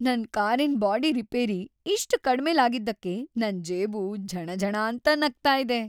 ನನ್ ಕಾರಿನ್ body repair ಇಷ್ಟ್ ಕಡ್ಮೆಲ್ ಆಗಿದ್ದಕ್ಕೆ ನನ್‌ ಜೇಬು ಝಣಝಣಾಂತ ನಗ್ತಾ ಇದೆ.